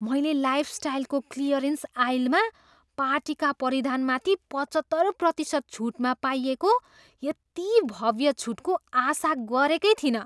मैले लाइफस्टाइलको क्लियरेन्स आइलमा पार्टीका परिधानमाथि पचहत्तर प्रतिशत छुटमा पाइएको यति भव्य छुटको आशा गरेकै थिइनँ।